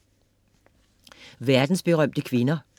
Verdensberømte kvinder